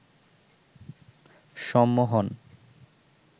সম্মোহন